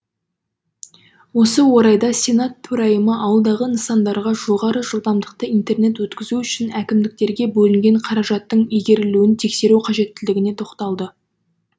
осы орайда сенат төрайымы ауылдағы нысандарға жоғары жылдамдықты интернет өткізу үшін әкімдіктерге бөлінген қаражаттың игерілуін тексеру қажеттілігіне тоқталды